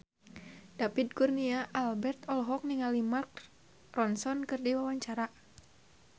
David Kurnia Albert olohok ningali Mark Ronson keur diwawancara